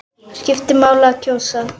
Skiptir máli að kjósa?